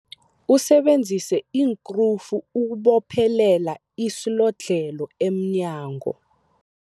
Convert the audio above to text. Usebenzise iinkrufu ukubophelela isilodlhelo emnyango.